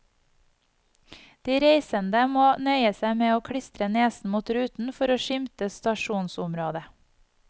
De reisende må nøye seg med å klistre nesen mot ruten for å skimte stasjonsområdet.